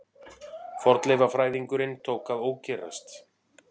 Fornleifafræðingurinn tók að ókyrrast.